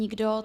Nikdo.